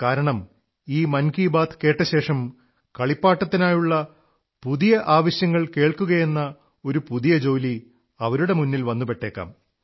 കാരണം ഈ മൻ കീ ബാത് കേട്ടശേഷം കളിപ്പാട്ടത്തിനായുള്ള പുതിയ പുതിയ ആവശ്യങ്ങൾ കേൾക്കുകയെന്ന ഒരു പുതിയ ജോലി അവരുടെ മുന്നിൽ വന്നുപെട്ടേക്കാം